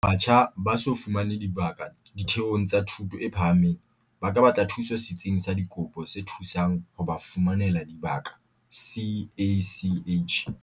Batjha ba so fumane dibaka ditheong tsa thuto e phahameng ba ka batla thuso Setsing sa Dikopo se Thusang ho ba Fumanela Dibaka, CACH..